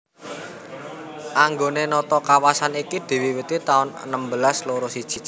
Anggone nata kawasan iki diwiwiti taun enem belas loro siji